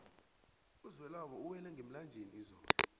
uzwelabo uwela ngemlanjeni izolo